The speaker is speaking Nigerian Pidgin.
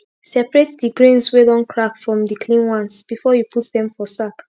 separate d grains wey don crack from d clean ones before u put dem for sack